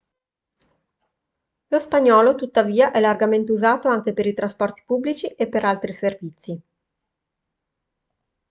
lo spagnolo tuttavia è largamente usato anche per i trasporti pubblici e per altri servizi